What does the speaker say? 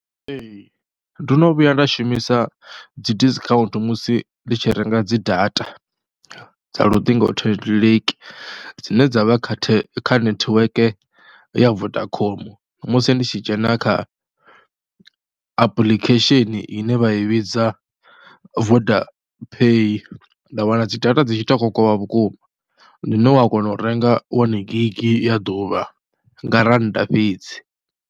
Ee ndo no vhuya nda shumisa dzi discount musi ndi tshi renga dzi data dza luṱingothendeleki dzine dza vha kha kha netiweke ya Vodacom musi ndi tshi dzhena kha apuḽikhesheni ine vha i vhidza Voda Paye nda wana dzi data dzi tshi tou kokovha vhukuma, hune wa kona u renga wani gigi ya ḓuvha nga rannda fhedzi.